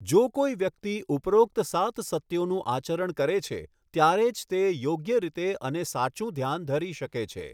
જો કોઈ વ્યકિત ઉપરોક્ત સાત સત્યોનું આચરણ કરે છે ત્યારે જ તે યોગ્ય રીતે અને સાચું ધ્યાન ધરી શકે છે.